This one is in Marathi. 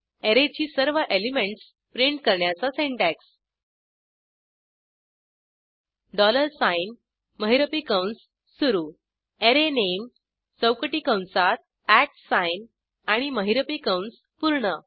अॅरेची सर्व एलिमेंटस प्रिंट करण्याचा सिंटॅक्स डॉलर साइन महिरपी कंस सुरू अरेनामे चौकटी कंसात At sign आणि महिरपी कंस पूर्ण